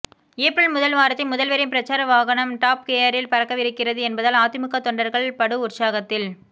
April முதல் வாரத்தில் முதல்வரின் பிரச்சார வகனம் டாப் கியரில் பறக்கவிருக்கிறது என்பதால் அதிமுக தொண்டர்கள் படு உற்சாகத்தில்